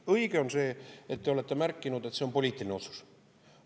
Õige on see, nagu te olete märkinud, et see on poliitiline otsus.